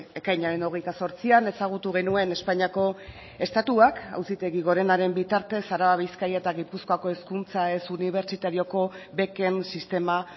ekainaren hogeita zortzian ezagutu genuen espainiako estatuak auzitegi gorenaren bitartez araba bizkaia eta gipuzkoako hezkuntza ez unibertsitarioko beken sistema